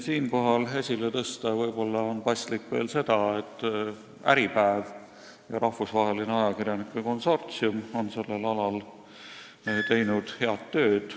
Siinkohal on võib-olla paslik veel esile tõsta seda, et Äripäev ja rahvusvaheline ajakirjanike konsortsium on teinud sellel alal head tööd.